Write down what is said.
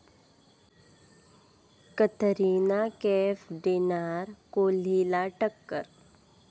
कतरिना कैफ देणार कोहलीला टक्कर!